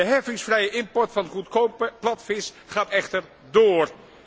De heffingsvrije import van goedkope platvis gaat echter door.